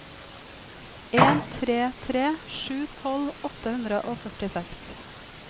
en tre tre sju tolv åtte hundre og førtiseks